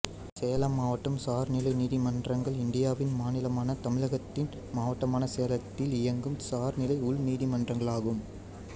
சேலம் மாவட்ட சார் நிலை நீதிமன்றங்கள் இந்தியாவின் மாநிலமான தமிழகத்தின் மாவட்டமான் சேலத்தில் இயங்கும் சார் நிலை உள்நீதிமன்றங்களாகும்